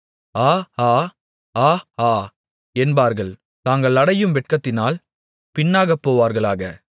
ஆ ஆ ஆ ஆ என்பவர்கள் தாங்கள் அடையும் வெட்கத்தினால் பின்னாகப்போவார்களாக